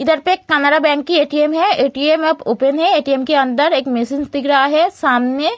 इधर पे एक कैनरा बैंक की ए.टी.एम. है ए.टी.एम. अब ओपन है ए.टी.एम. के अंदर एक दिख रहा है सामने।